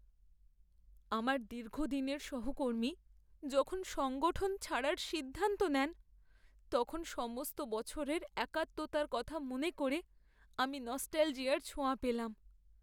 আমার দীর্ঘদিনের সহকর্মী যখন সংগঠন ছাড়ার সিদ্ধান্ত নেন, তখন সমস্ত বছরের একাত্মতার কথা মনে করে আমি নস্টালজিয়ার ছোঁয়া পেলাম।